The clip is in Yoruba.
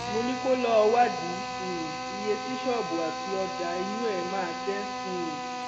mo ní kó lọọ wádìí um iye tí ṣọọbù àti ọjà inú ẹ máa jẹ um